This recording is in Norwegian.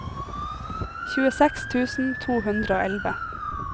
tjueseks tusen to hundre og elleve